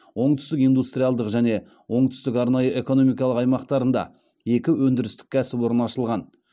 оңтүстік индустриалдық және оңтүстік арнайы экономикалық аймақтарында екі өндірістік кәсіпорын ашылған